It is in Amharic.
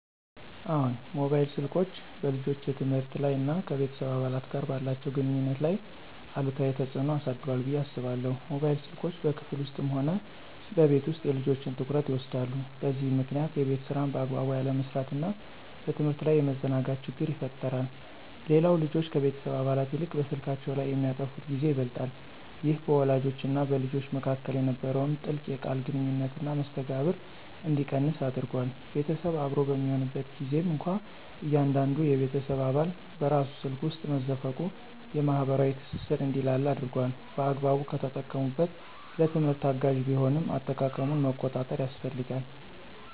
አዎን፣ ሞባይል ስልኮች በልጆች የትምህርት ላይ እና ከቤተሰብ አባላት ጋር ባላቸው ግንኙነት ላይ አሉታዊ ተጽዕኖ አሳድሯል ብዬ አስባለሁ። ሞባይል ስልኮች በክፍል ውስጥም ሆነ በቤት ውስጥ የልጆችን ትኩረት ይወስዳሉ፤ በዚህም ምክንያት የቤት ሥራን በአግባቡ ያለመስራትና በትምህርት ላይ የመዘናጋት ችግር ይፈጠራል። ሌላው ልጆች ከቤተሰብ አባላት ይልቅ በስልካቸው ላይ የሚያጠፉት ጊዜ ይበልጣል። ይህ በወላጆችና በልጆች መካከል የነበረውን ጥልቅ የቃል ግንኙነትና መስተጋብር እንዲቀንስ አድርጓል። ቤተሰብ አብሮ በሚሆንበት ጊዜም እንኳ እያንዳንዱ የቤተሰብ አባል በራሱ ስልክ ውስጥ መዘፈቁ የማኅበራዊ ትስስር እንዲላላ አድርጓል። በአግባቡ ከተጠቀሙበት ለትምህርት አጋዥ ቢሆንም፣ አጠቃቀሙን መቆጣጠር ያስፈልጋል።